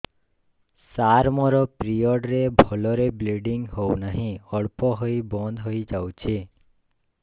ସାର ମୋର ପିରିଅଡ଼ ରେ ଭଲରେ ବ୍ଲିଡ଼ିଙ୍ଗ ହଉନାହିଁ ଅଳ୍ପ ହୋଇ ବନ୍ଦ ହୋଇଯାଉଛି